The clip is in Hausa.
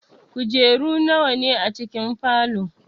Kujeru nawa ne a cikin falow?